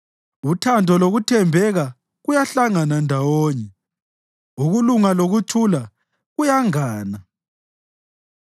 Uthando lokuthembeka kuyahlangana ndawonye; ukulunga lokuthula kuyangana.